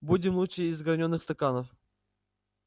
будем лучше из гранёных стаканов